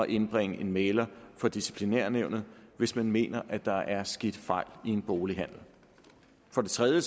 indbringe en mægler for disciplinærnævnet hvis man mener at der er sket fejl i en bolighandel for det tredje